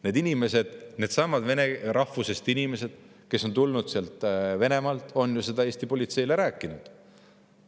Need inimesed, needsamad vene rahvusest inimesed, kes on tulnud Venemaalt, on ju seda Eesti politseile rääkinud.